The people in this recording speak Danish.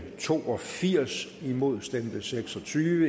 to og firs imod stemte seks og tyve